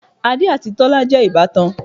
Adé àti Tọ́lá jẹ́ ìbátan